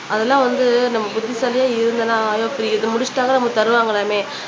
அதெல்லாம் வந்து நம்ம புத்திசாலியா இதை முடிச்சிட்டம்ன்னா நமக்கு தருவாங்கலாமே